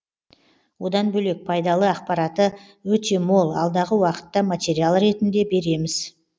одан бөлек пайдалы ақпараты өте мол алдағы уақытта материал ретінде береміз